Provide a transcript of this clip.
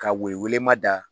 Ka woyi welema da.